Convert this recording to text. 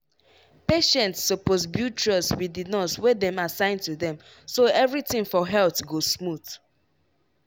patients suppose build trust wit di nurse wey dem assign to dem so everything for health go smooth.